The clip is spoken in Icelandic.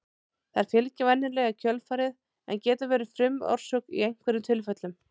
Þær fylgja venjulega í kjölfarið en geta verið frumorsök í einhverjum tilfellum.